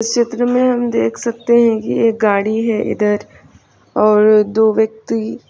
इस चित्र में हम देख सकते हैं कि एक गाड़ी है इधर और दो व्यक्ति --